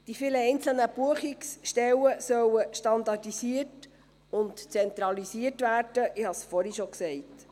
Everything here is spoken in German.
Die vielen einzelnen Buchungsstellen sollen standardisiert und zentralisiert werden, ich habe es vorhin schon gesagt.